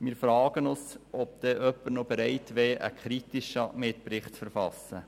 Wir fragen uns, ob dann noch jemand bereit wäre, einen kritischen Mitbericht zu verfassen.